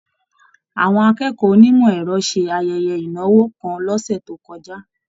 Àwọn akẹ́kọ̀ọ́ onimọ ẹrọ ṣe ayẹyẹ ìnáwó kàn l'ọsẹ to kọjá.